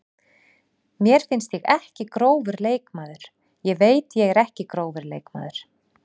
Mér finnst ég ekki grófur leikmaður, ég veit ég er ekki grófur leikmaður.